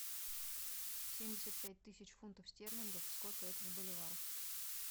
семьдесят пять тысяч фунтов стерлингов сколько это в боливарах